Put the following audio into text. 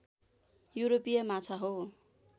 युरोपीय माछा हो